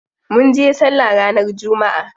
Munje sallah ranar jumma'a.